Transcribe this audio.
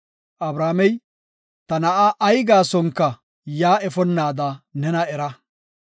Abrahaamey, “Ta na7a ay gaasonka yaa efonnaada nena era!